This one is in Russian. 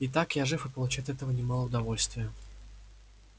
и так я жив и получаю от этого немало удовольствия